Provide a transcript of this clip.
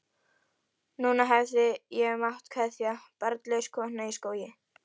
Núna hefði ég mátt kveðja, barnlaus kona í skógi.